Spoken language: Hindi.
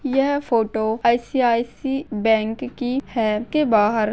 यह फोटो आई.सी.आई.सी.आई बैंक की है के बाहर--